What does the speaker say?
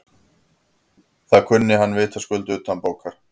Það kunni hann vitaskuld utanbókar.